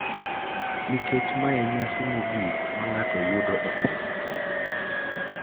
Nikech mae e nyasi mogik ma ng`ato yudo e piny ka.